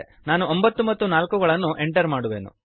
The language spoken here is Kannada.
ನಾನು 9 ಮತ್ತು 4 ಗಳನ್ನು ಎಂಟರ್ ಮಾಡುವೆನು